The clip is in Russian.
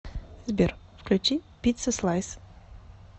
сбер включи пиццаслайс